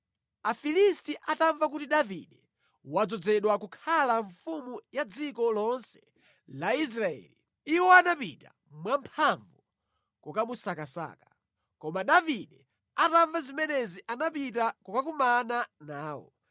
Afilisti atamva kuti Davide wadzozedwa kukhala mfumu ya dziko lonse la Israeli, iwo anapita mwamphamvu kukamusakasaka. Koma Davide atamva zimenezi anapita kukakumana nawo.